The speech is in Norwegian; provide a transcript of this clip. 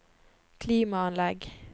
klimaanlegg